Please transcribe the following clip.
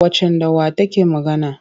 Waccan da wa take magana?